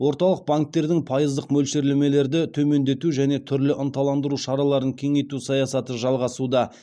орталық банктердің пайыздық мөлшерлемелерді төмендету және түрлі ынталандыру шараларын кеңейту саясаты жалғасуда